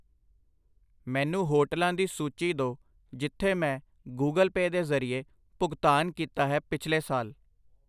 ਮੈਨੂੰ ਹੋਟਲਾਂ ਦੀ ਸੂਚੀ ਦੋ ਜਿਥੇ ਮੈਂ ਗੁਗਲ ਪੈ ਦੇ ਜਰਿਏ ਭੁਗਤਾਨ ਕੀਤਾ ਹੈ ਪਿੱਛਲੇ ਸਾਲ I